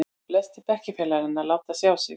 Flestir bekkjarfélaganna láta sjá sig.